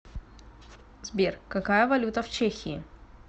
сбер какая валюта в чехии